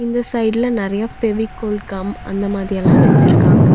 இந்த சைடுல நறையா ஃபெவிகோல் கம் அந்த மாதி எல்லா வெச்சிருக்காங்க.